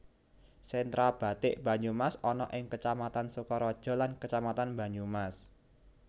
Sentra bathik Banyumas ana ing Kecamatan Sokaraja lan Kecamatan Banyumas